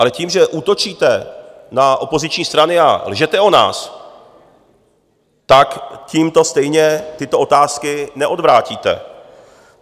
Ale tím, že útočíte na opoziční strany a lžete o nás, tak tímto stejně tyto otázky neodvrátíte.